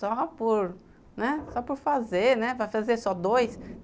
Só por, né, só por fazer, né, vai fazer só dois.